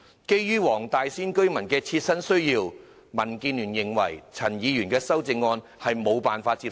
基於黃大仙區居民的切身需要，民建聯認為陳議員的修正案令人無法接受。